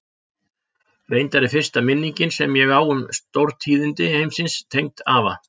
Reyndar er fyrsta minningin sem ég á um stórtíðindi heimsins tengd afa.